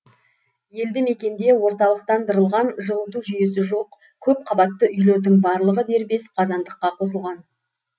елді мекенде орталықтандырылған жылыту жүйесі жоқ көпқабатты үйлердің барлығы дербес қазандыққа қосылған